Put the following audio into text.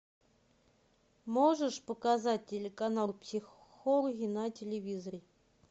можешь показать телеканал психологи на телевизоре